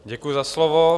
Děkuji za slovo.